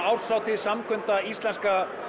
árshátíð samkunda íslenska